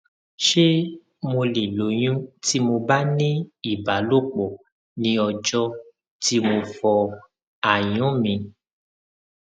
sọ ọnààbáyọ fún òtútù tó le ganan tó sì máa ń fa ìrora oríkèéríkèé